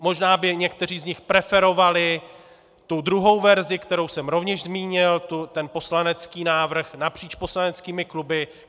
Možná by někteří z nich preferovali tu druhou verzi, kterou jsem rovněž zmínil, ten poslanecký návrh napříč poslaneckými kluby.